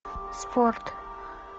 спорт